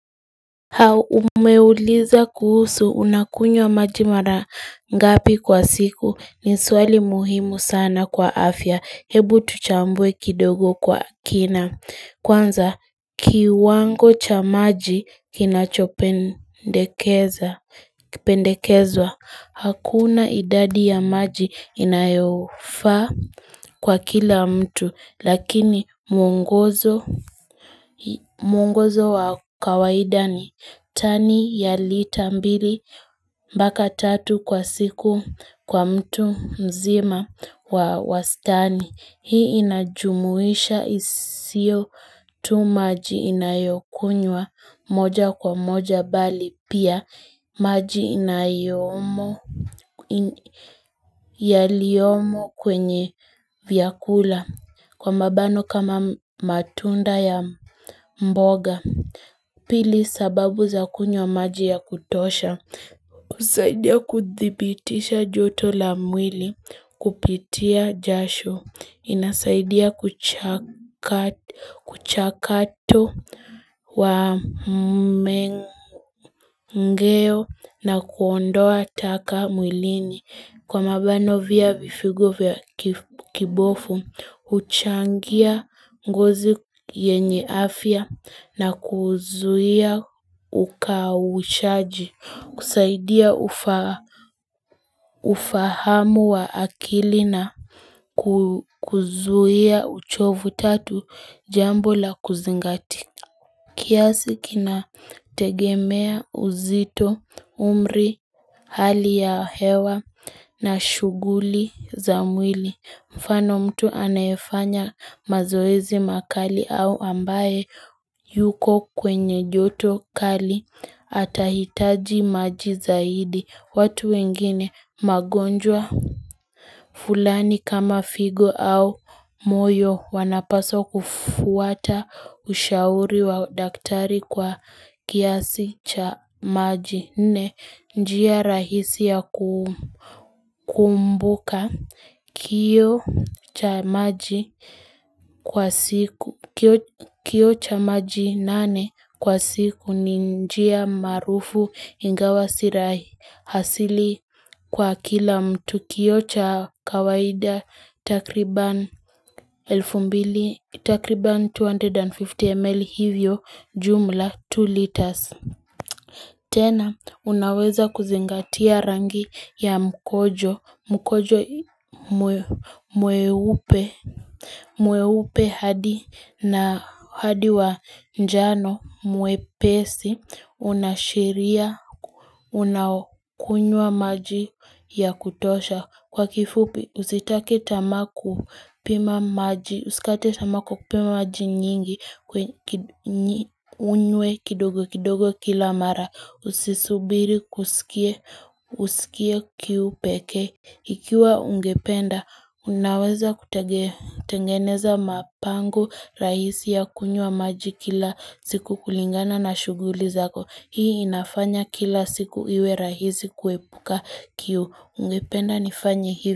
Haa umeuliza kuhusu unakunywa maji mara ngapi kwa siku ni swali muhimu sana kwa afya hebu tuchambue kidogo kwa kina kwanza kiwango cha maji kinachopendekeza kipendekezwa Hakuna idadi ya maji inayofaa kwa kila mtu lakini muongozo wa kawaida ni tani ya lita mbili mbaka tatu kwa siku kwa mtu mzima wa wastani. Hii inajumuisha isio tu maji inayokunywa moja kwa moja bali pia maji yaliyomo kwenye vyakula kwa mabano kama matunda ya mboga. Pili sababu za kunywa maji ya kutosha, usaidia kuthibitisha joto la mwili kupitia jasho, inasaidia kuchakato wa mgeo na kuondoa taka mwilini. Kwa mabano vya vifigo vya kibofu, uchangia ngozi yenye afya na kuzuia ukawushaji, kusaidia ufahamu wa akili na kuzuia uchovu tatu jambo la kuzingatia kiasi kina tegemea uzito, umri, hali ya hewa na shuguli za mwili mfano mtu anayefanya mazoezi makali au ambaye yuko kwenye joto kali atahitaji maji zaidi watu wengine magonjwa fulani kama figo au moyo wanapaswa kufuata ushauri wa daktari kwa kiasi cha maji. Nne njia rahisi ya kumbuka kioo cha maji nane kwa siku ni njia marufu ingawa sirahi hasili kwa kila mtu kioo cha kawaida takriban two hundred and fifty ml hivyo jumla two liters. Tena, unaweza kuzingatia rangi ya mkojo, mkojo mweupe hadi na hadi wa njano mwepesi, unashiria unaokunywa maji ya kutosha. Kwa kifupi, usitake tamaa ku pima maji, usikate tamaa kwa kupima maji nyingi, unywe kidogo kidogo kila mara. Usisubiri usikie kiu peke. Ikiwa ungependa, unaweza kutengeneza mapango rahisi ya kunywa maji kila siku kulingana na shuguli zako. Hii inafanya kila siku iwe rahisi kuepuka kiu. Ungependa nifanye hivi.